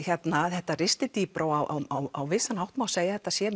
þetta ristir dýpra á vissan hátt má segja að þetta sé